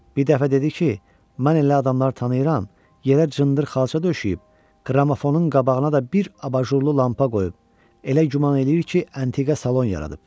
Bir dəfə dedi ki, mən elə adamları tanıyıram, yerə cındır xalça döşəyib, qramofonun qabağına da bir abajurlu lampa qoyub, elə güman eləyir ki, əntiqə salon yaradıb.